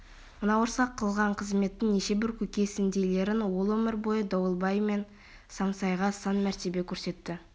мына орысқа қылған қызметтің неше бір көкесіндейлерін ол өмір бойы дауылбай мен саймасайға сан мәртебе көрсетті